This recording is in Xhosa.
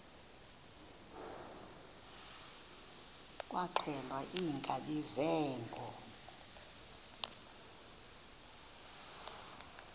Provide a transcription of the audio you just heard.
kwaxhelwa iinkabi zeenkomo